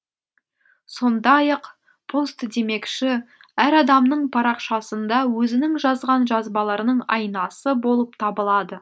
сондай ақ пост демекші әр адамның парақшасында өзінің жазған жазбаларының айнасы болып табылады